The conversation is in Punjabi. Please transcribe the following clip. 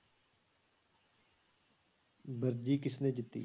ਵਰਜੀ ਕਿਸਨੇ ਜਿੱਤੀ?